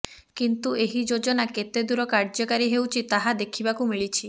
କିନ୍ତୁ ଏହି ଯୋଜନା କେତେଦୂର କାର୍ଯ୍ୟକାରୀ ହେଉଛି ତାହା ଦେଖିବାକୁ ମିଳିଛି